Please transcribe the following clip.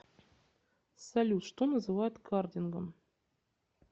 салют что называют кардингом